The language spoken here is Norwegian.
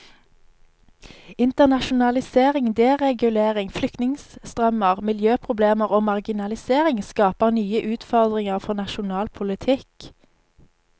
Internasjonalisering, deregulering, flyktningestrømmer, miljøproblemer og marginalisering skaper nye utfordringer for nasjonal politikk.